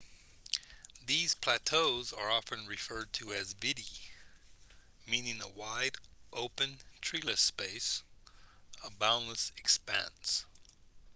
these plateaus are often referred to as vidde meaning a wide open treeless space a boundless expanse